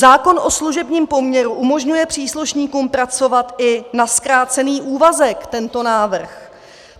Zákon o služebním poměru umožňuje příslušníkům pracovat i na zkrácený úvazek, tento návrh.